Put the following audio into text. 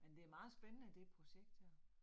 Men det meget spændende det projekt her